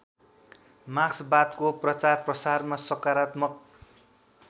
मार्क्सवादको प्रचारप्रसारमा सकरात्मक